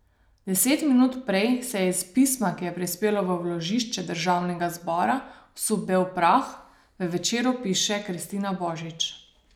Deset minut prej se je iz pisma, ki je prispelo v vložišče državnega zbora, vsul bel prah, v Večeru piše Kristina Božič.